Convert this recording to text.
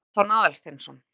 Stefán Aðalsteinsson.